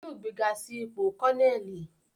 Wọn yóò gbega si ipo Kọneli